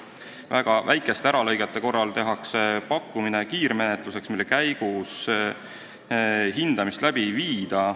Väga väikeste äralõigete korral tehakse pakkumine kiirmenetluseks, mille käigus hindamist läbi ei viida.